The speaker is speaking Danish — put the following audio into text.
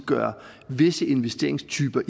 gøre visse investeringstyper